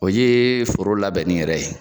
O yee foro labɛnni yɛrɛ ye